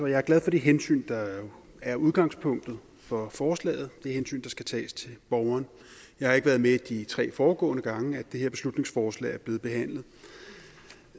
jeg er glad for det hensyn der er udgangspunktet for forslaget det hensyn der skal tages til borgeren jeg har ikke været med de tre foregående gange det her beslutningsforslag er blevet behandlet